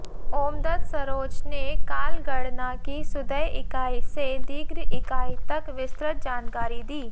ओमदत सरोच ने कालगणना की सुदय इकाई से दीर्घ इकाई तक विस्तृत जानकारी दी